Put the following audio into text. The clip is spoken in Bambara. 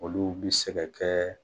Olu bi se ka kɛ